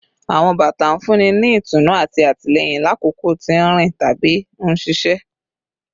Awọn bata n funni ni itunu ati atilẹyin lakoko ti nrin tabi nṣiṣẹ